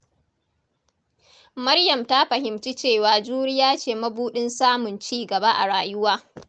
Maryam ta fahimci cewa juriya ce mabuɗin samun ci gaba a rayuwa.